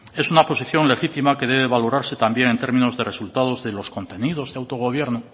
es una posición legítima que debe valorarse también en términos de resultados de los contenidos de autogobierno